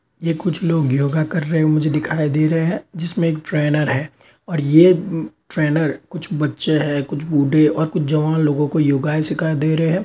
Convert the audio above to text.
ये कुछ लोग योगा करते हुए मुझे दिखायी दे रहे हैं जिसमें एक ट्रेनर है और ये ट्रेनर कुछ बच्चे हैं कुछ बुड्ढे हैं और कुछ जवान लोगो को योगायें सिखा दे रहे हैं।